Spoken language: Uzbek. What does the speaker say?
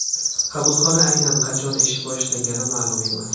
Qabulxona aynan qachon ish boshlagani ma’lum emas.